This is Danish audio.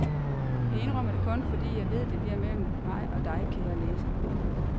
Jeg indrømmer det kun, fordi jeg ved, det bliver mellem mig og dig, kære læser.